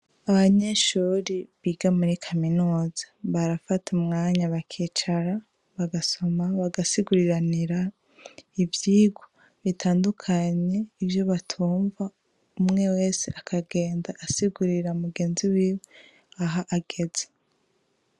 Abanyeshure biga muri kaminuza barafata umwanya bakicara, bagasoma, bagasiguriranira ivyigwa bitandukanye, ivyo batumva, umwe wese akagenda asigurira mugenzi wiwe aho ageze.